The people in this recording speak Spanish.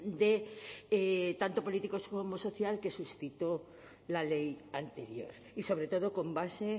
de tanto políticos como social que suscitó la ley anterior y sobre todo con base